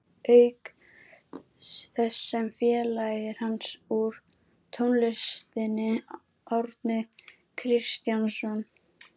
Auk þess sem félagar hans úr tónlistinni, Árni Kristjánsson